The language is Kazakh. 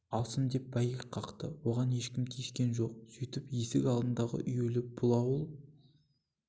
алсын деп бәйек қақты оған ешкім тиіскен жоқ сөйтіп есік алдындағы үюлі бұл ауыл